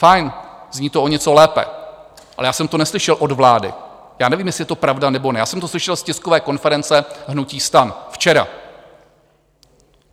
Fajn, zní to o něco lépe, ale já jsem to neslyšel od vlády, já nevím, jestli je to pravda, nebo ne, já jsem to slyšel z tiskové konference hnutí STAN včera.